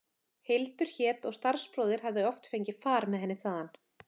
Hildur hét og starfsbróðir hefði oft fengið far með henni þaðan.